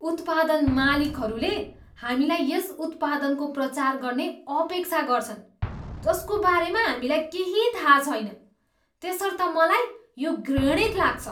उत्पादन मालिकहरूले हामीलाई यस उत्पादनको प्रचार गर्ने अपेक्षा गर्छन् जसको बारेमा हामीलाई केही थाहा छैन त्यसर्थ मलाई यो घृणित लाग्छ।